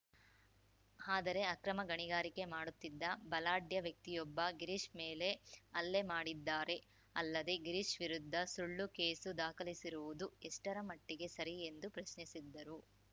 ಆದರೆ ಅಕ್ರಮ ಗಣಿಗಾರಿಕೆ ಮಾಡುತ್ತಿದ್ದ ಬಲಾಢ್ಯ ವ್ಯಕ್ತಿಯೊಬ್ಬ ಗಿರೀಶ್‌ ಮೇಲೆ ಹಲ್ಲೆ ಮಾಡಿದ್ದಾರೆ ಅಲ್ಲದೆ ಗಿರೀಶ್‌ ವಿರುದ್ಧ ಸುಳ್ಳು ಕೇಸು ದಾಖಲಿಸಿರುವುದು ಎಷ್ಟರ ಮಟ್ಟಿಗೆ ಸರಿ ಎಂದು ಪ್ರಶ್ನಿಸಿದರು